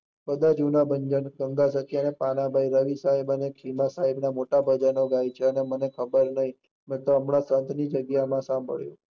બધા જુના ભંજન સાહેબ મોટા ભજન અગત્ય ચછે અને મેન ખબર નહીં નહિતર હમણાં જગ્યા સાંભળી